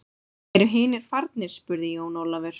Eru hinir farnir spurði Jón Ólafur.